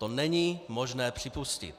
To není možné připustit.